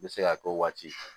N bɛ se ka k'o waati